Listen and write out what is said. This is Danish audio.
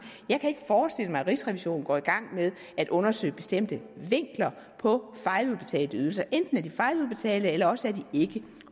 jeg kan ikke forestille mig at rigsrevisionen går i gang med at undersøge bestemte vinkler på fejludbetalte ydelser enten er de fejludbetalte eller også er de ikke